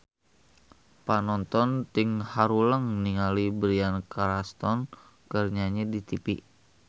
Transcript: Panonton ting haruleng ningali Bryan Cranston keur nyanyi di tipi